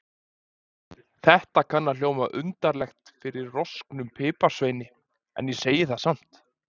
Þetta kann að hljóma undarlega frá rosknum piparsveini, en ég segi það samt.